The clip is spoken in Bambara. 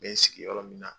N bɛ n sigi yɔrɔ min na